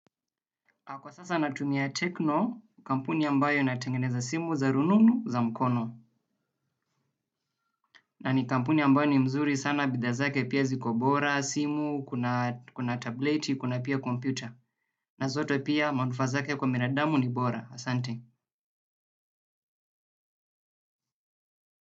Kwa sasa natumia Tekno, kampuni ambayo inatengeneza simu za rununu za mkono. Na ni kampuni ambayo ni mzuri sana bidhaa zake pia ziko bora, simu, kuna tableti, kuna pia kompyuta. Na zote pia manufaa zake kwa binadamu ni bora. Asante.